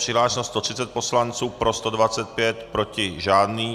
Přihlášeno 130 poslanců, pro 125, proti žádný.